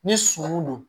Ni suman don